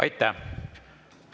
Aitäh!